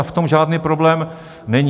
A v tom žádný problém není.